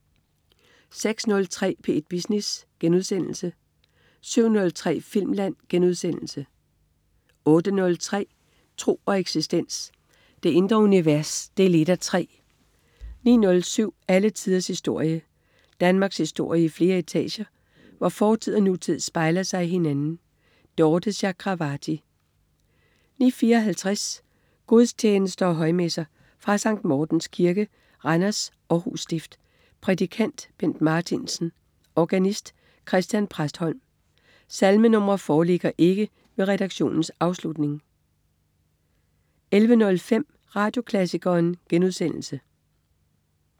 06.03 P1 Business* 07.03 Filmland* 08.03 Tro og eksistens. Det indre univers 1:3 09.07 Alle tiders historie. Danmarkshistorie i flere etager, hvor fortid og nutid spejler sig i hinanden. Dorthe Chakravarty 09.54 Gudstjenester og højmesser. Fra Sct. Mortens Kirke, Randers. Århus Stift. Prædikant: Bent Martinsen. Organist: Christian Præstholm. Salmenr. foreligger ikke ved redaktionens afslutning 11.05 Radioklassikeren*